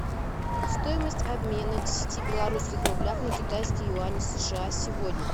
стоимость обмена десяти белорусских рублей на китайские юани сша сегодня